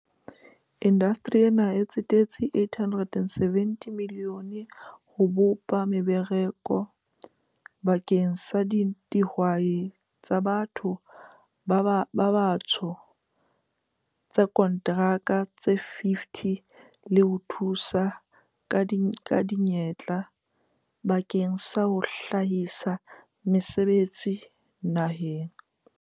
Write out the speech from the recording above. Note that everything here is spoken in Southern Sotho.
"Indasteri ena e tsetetse R870 milione ho bopa meba raka bakeng sa dihwai tsa ba tho ba batsho tsa konteraka tse 50 le ho thusa ka diyantle bakeng sa ho hlahisa mese betsi naheng."